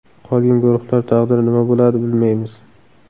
Qolgan guruhlar taqdiri nima bo‘ladi, bilmaymiz.